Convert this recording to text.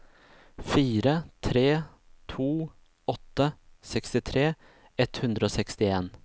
fire tre to åtte sekstitre ett hundre og sekstien